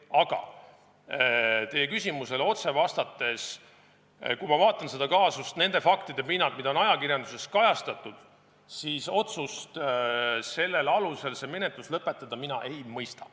Aga teie küsimusele otse vastates: kui ma vaatan seda kaasust nende faktide pinnalt, mida on ajakirjanduses kajastatud, siis otsust sellel alusel see menetlus lõpetada mina ei mõista.